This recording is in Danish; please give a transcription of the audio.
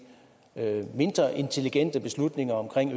mindre intelligente beslutninger om